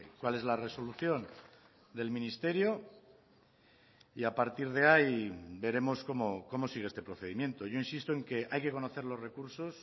cuál es la resolución del ministerio y a partir de ahí veremos cómo sigue este procedimiento yo insisto en que hay que conocer los recursos